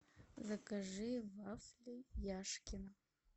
закажи вафли яшкино